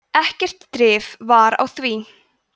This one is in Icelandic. ekkert drif var á því